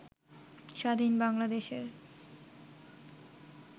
স্বাধীন বাংলাদেশের